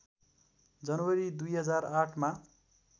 जनवरी २००८ मा